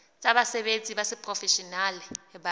tsa basebetsi ba seprofeshenale ba